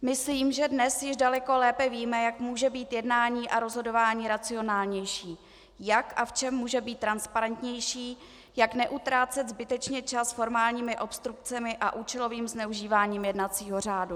Myslím, že dnes již daleko lépe víme, jak může být jednání a rozhodování racionálnější, jak a v čem může být transparentnější, jak neutrácet zbytečně čas formálními obstrukcemi a účelovým zneužíváním jednacího řádu.